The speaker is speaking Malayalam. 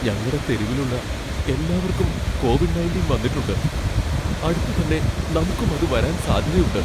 ഞങ്ങടെ തെരുവിലുള്ള എല്ലാവർക്കും കോവിഡ് ണയൻറ്റീൻ വന്നിട്ടുണ്ട് , അടുത്തന്നെ നമുക്കും അത് വരാൻ സാധ്യതയുണ്ട് .